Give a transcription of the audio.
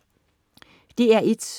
DR1: